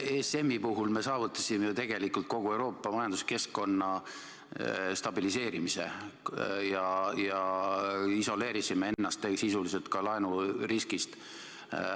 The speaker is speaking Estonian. ESM-i puhul me saavutasime tegelikult kogu Euroopa majanduskeskkonna stabiliseerimise ja isoleerisime ennast sisuliselt ka laenuriskist.